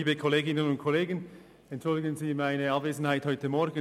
Entschuldigen Sie meine Abwesenheit heute Morgen;